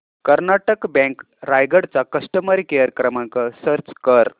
Karnataka bank Raigad चा customer care क्रमांक search कर